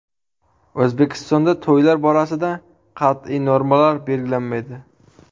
O‘zbekistonda to‘ylar borasida qat’iy normalar belgilanmaydi.